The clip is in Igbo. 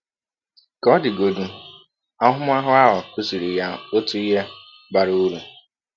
Ka ọ dịgodị, ahụmahụ ahụ kụziiri ya ọtụ ihe bara ụrụ.